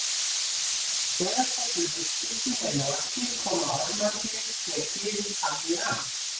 Þegar þessum umskiptum er lokið koma ormarnir sér fyrir þannig að